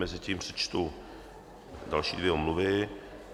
Mezitím přečtu další dvě omluvy.